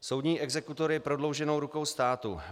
Soudní exekutor je prodlouženou rukou státu.